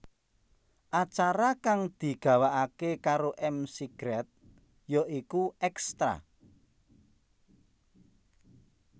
Acara kang digawakaké karo McGrath ya iku Extra